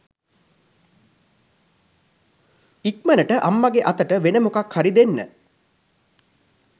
ඉක්මනට අම්මගේ අතට වෙන මොකක් හරි දෙන්න